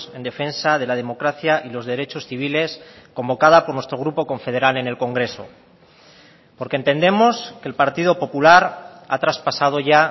en defensa de la democracia y los derechos civiles convocada por nuestro grupo confederal en el congreso porque entendemos que el partido popular ha traspasado ya